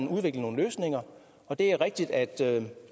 udviklet nogle løsninger og det er rigtigt at